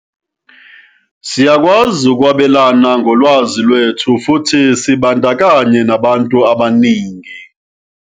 "Siyakwazi ukwabelana ngolwazi lwethu futhi sibandakanye nabantu abaningi."